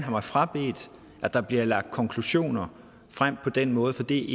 mig frabedt at der bliver lagt konklusioner frem på den måde for det